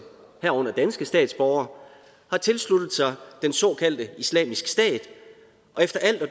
herunder danske statsborgere har tilsluttet sig den såkaldte islamisk stat og efter alt at